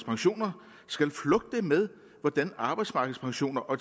pensioner skal flugte med hvordan arbejdsmarkedspensioner og